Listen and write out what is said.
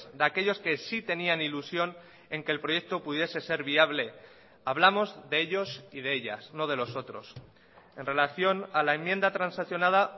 de aquellos que sí tenían ilusión en que el proyecto pudiese ser viable hablamos de ellos y de ellas no de los otros en relación a la enmienda transaccionada